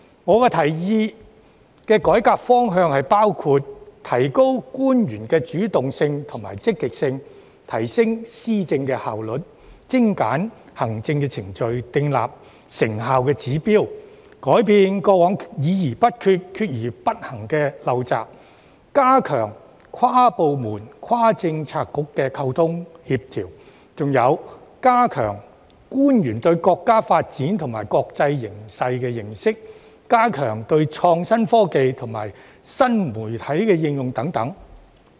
我提議的改革方向包括：提高官員的主動性及積極性；提升施政效率、精簡行政程序、訂立成效指標，改變過往議而不決、決而不行的陋習；加強跨部門、跨政策局的溝通協調；加強官員對國家發展及國際形勢的認識，以及加強創新科技及新媒體應用等。